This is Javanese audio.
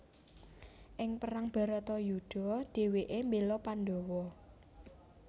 Ing perang Bharatayudha dhèwèké mbéla Pandawa